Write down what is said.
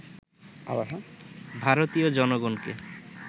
ভারতীয় জনগণকে